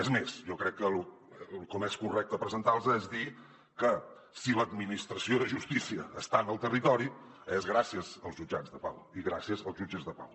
és més jo crec que com és més correcte presentar los és dient que si l’administració de justícia està en el territori és gràcies als jutjats de pau i gràcies als jutges de pau